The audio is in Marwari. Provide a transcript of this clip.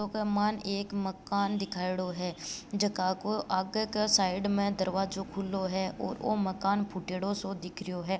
फोटो के मायन एक मकान दिखायोडो है जका को आगे के साइड में दरवाजाे खुलाे है और ओ मकान फुट्योड़ो सो दिख रहियो है।